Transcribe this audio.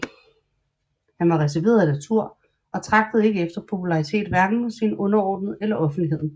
Han var reserveret af natur og tragtede ikke efter popularitet hverken hos sine overordnede eller offentligheden